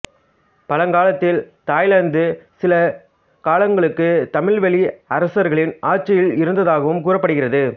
பழங்காலத்தில் தாய்லாந்து சில காலங்களுக்கு தமிழ்வழி அரசர்களின் ஆட்சியில் இருந்தாகவும் கூறப்படுகிறது